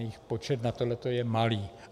Jejich počet na tohle je malý.